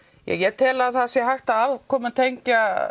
ég tel að það sé hægt að afkomutengja